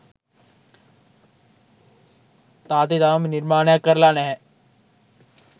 තාත්ති තවම නිර්මාණයක් කරලා නැහැ.